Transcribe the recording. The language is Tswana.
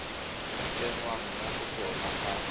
tsenngwang mo go tsona ga